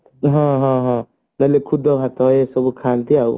ହଁ ହଁ ହଁ ବୋଲେ ଖୁଦ ଭାତ ଏସବୁ ଖାନ୍ତି